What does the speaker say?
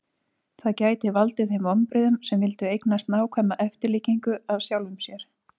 það gæti valdið þeim vonbrigðum sem vildu eignast nákvæma eftirlíkingu af sjálfum sér